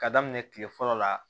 Ka daminɛ kile fɔlɔ la